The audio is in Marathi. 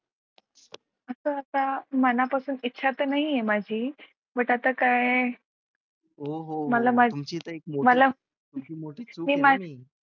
असा आता मनापासून इच्छा तर नाही आहे माझी but आता काय आहे